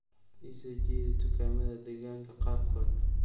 ii soo jeedi dukaamada deegaanka qaarkood